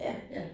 Ja